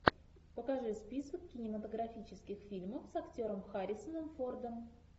покажи список кинематографических фильмов с актером харрисоном фордом